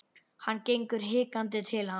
Hann gengur hikandi til hans.